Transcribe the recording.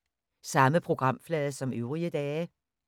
Samme programflade som øvrige dage